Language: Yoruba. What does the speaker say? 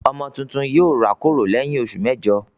Ọmọ tuntun yóò rákòrò lẹ́yìn oṣù mẹ́jọ.